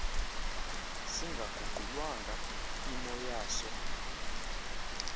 singaguqulwanga imo yaso